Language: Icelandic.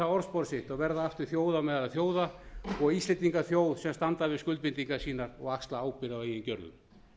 orðspor sitt og verða aftur þjóð á meðal þjóða og íslendingar þjóð sem stendur við skuldbindingar sínar og axlar ábyrgð á eigin gjörðum